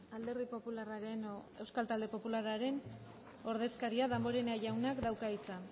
alderdi popularraren edo euskal talde popularraren ordezkaria damborenea jaunak dauka hitza